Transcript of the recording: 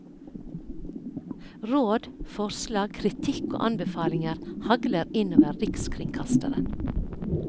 Råd, forslag, kritikk og anbefalinger hagler inn over rikskringkasteren.